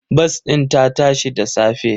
Bas ɗin ta tashi da safe.